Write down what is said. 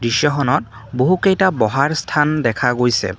দৃশ্যখনত বহুকেইটা বহাৰ স্থান দেখা গৈছে।